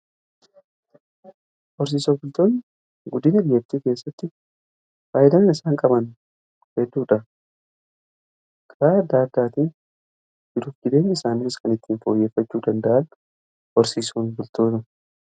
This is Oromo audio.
Horsiisee bultoonni guddina biyyaa keessatti faayyidaan isaan qaban hedduudha. Karaa garagaraatiin jiruuf jireenya isaanii irrattis kan ittiin foyyeeffachuu danda'an horsiisee bultootadha.